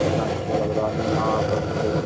कितना अच्छा लग रहा है न यहाँ आकर देख।